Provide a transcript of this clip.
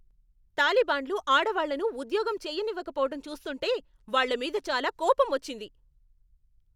తాలిబాన్లు ఆడవాళ్లను ఉద్యోగం చేయనివ్వకపోవటం చూస్తుంటే, వాళ్ళమీద చాలా కోపమొచ్చింది.